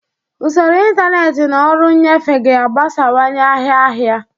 Usoro ntanetị na ọrụ nnyefe ga-agbasawanye ahịa ahịa.